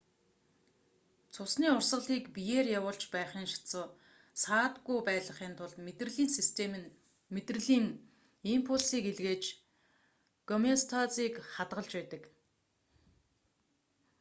цусны урсгалыг биеэр явуулж байхын сацуу саадгүй байлгахын тулд мэдрэлийн систем нь мэдрэлийн импульсийг илгээж гомеостазыг хадгалж байдаг